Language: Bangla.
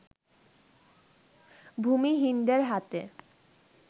ভূমিহীনদের হাতে